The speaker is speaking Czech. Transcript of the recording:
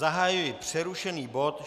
Zahajuji přerušený bod